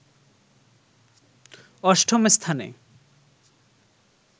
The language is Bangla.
অষ্টম স্থানে